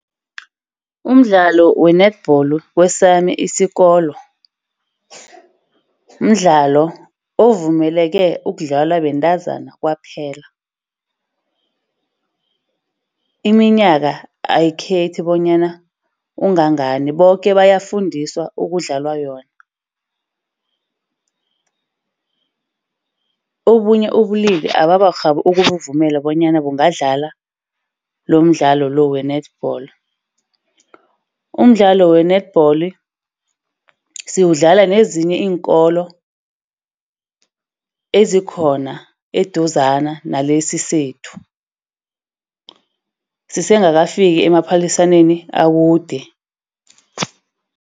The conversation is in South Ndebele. Umdlalo we-netball kwesami isikolo, mdlalo ovumeleke ukudlalwa bentazana kwaphela. Iminyaka ayikhethi bonyana ungangani, boke bayafundiswa ukudlala yona. Obunye ubulili abakarhabi ukubuvumela bonyana bangadlala lomdlalo lo we-netball. Umdlalo we-netball siwudlala nezinye iinkolo ezikhona eduzane nalesi sethu. Sisengakafiki emaphaliswaneni akude.